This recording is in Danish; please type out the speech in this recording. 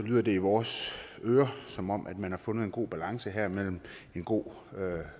lyder det i vores ører som om man har fundet en god balance her med en god